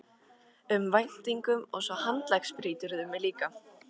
um væntingum og svo handleggsbrýturðu mig líka.